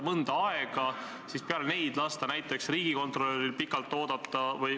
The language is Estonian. Milleks peale neid lasta näiteks riigikontrolöril pikalt oodata?